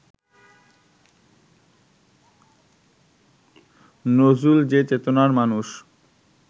নজরুল যে চেতনার মানুষ